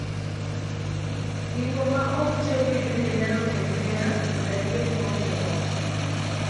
Singo ma ok chopi bende nyalo ketho hera kod adier kuom joot.